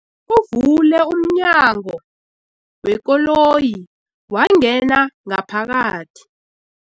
Uvule umnyango wekoloyi wangena ngaphakathi.